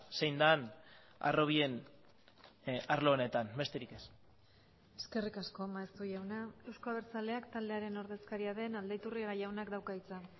zein den harrobien arlo honetan besterik ez eskerrik asko maeztu jauna euzko abertzaleak taldearen ordezkaria den aldaiturriaga jaunak dauka hitza